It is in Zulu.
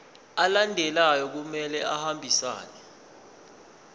alandelayo kumele ahambisane